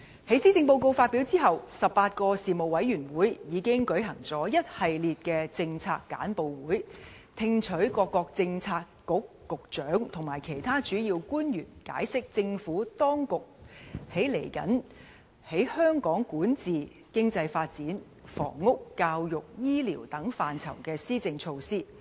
在施政報告發表後 ，18 個事務委員會已經舉行了一系列的政策簡報會，聽取各位政策局局長和其他主要官員解釋政府當局未來在香港的管治、經濟發展、房屋、教育和醫療等範疇的施政措施。